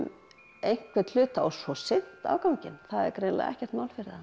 einhvern hluta og svo synt afganginn það er greinilega ekkert mál fyrir þá